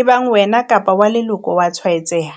ebang wena kapa wa leloko a tshwaetseha?